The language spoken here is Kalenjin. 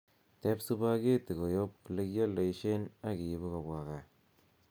teeb supageti koyob olekyoldoishien ak iibu kobwa gaa